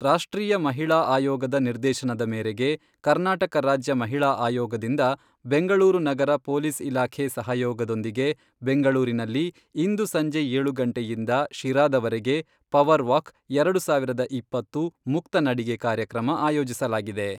ರಾಷ್ಟ್ರೀಯ ಮಹಿಳಾ ಆಯೋಗದ ನಿರ್ದೇಶನದ ಮೇರೆಗೆ, ಕರ್ನಾಟಕ ರಾಜ್ಯ ಮಹಿಳಾ ಆಯೋಗದಿಂದ ಬೆಂಗಳೂರು ನಗರ ಪೊಲೀಸ್ ಇಲಾಖೆ ಸಹಯೋಗದೊಂದಿಗೆ, ಬೆಂಗಳೂರಿನಲ್ಲಿ ಇಂದು ಸಂಜೆ ಏಳು ಗಂಟೆಯಿಂದ, ಶಿರಾದವರೆಗೆ ,ಪವರ್ ವಾಕ್, ಎರಡು ಸಾವಿರದ ಇಪ್ಪತ್ತು, ಮುಕ್ತ ನಡಿಗೆ, ಕಾರ್ಯಕ್ರಮ ಆಯೋಜಿಸಲಾಗಿದೆ.